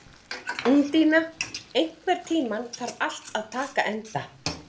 Úndína, einhvern tímann þarf allt að taka enda.